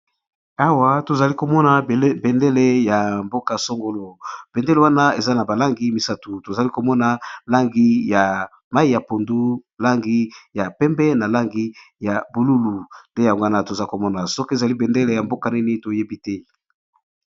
awa tozali komona bendele ya mboka-songolo bendele wana eza na balangi misatu tozali komona langi ya mai ya pondu langi ya pembe na langi ya bululu nde yangowana toza komona soki ezali bendele ya mboka nini toyebi te